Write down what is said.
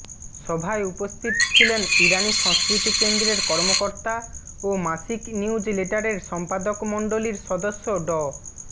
সভায় উপস্থিত ছিলেন ইরানি সংস্কৃতি কেন্দ্রের কর্মকর্তা ও মাসিক নিউজ লেটারের সম্পাদকমণ্ডলীর সদস্য ড